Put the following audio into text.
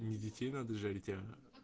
не детей надо жарить а